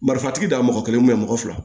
Marifantigi da mɔgɔ kelen mɔgɔ fila